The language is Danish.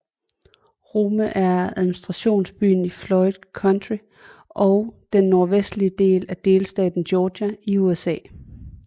Rome er administrationsbyen i Floyd County i den nordvestlige del af delstaten Georgia i USA